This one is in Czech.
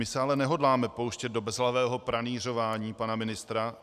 My se ale nehodláme pouštět do bezhlavého pranýřování pana ministra.